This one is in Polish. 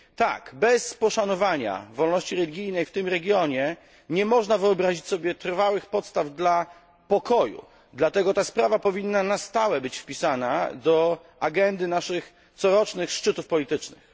Tak, bez poszanowania wolności religijnej w tym regionie nie można wyobrazić sobie trwałych podstaw dla pokoju, dlatego ta sprawa powinna na stałe być wpisana do agendy naszych corocznych szczytów politycznych.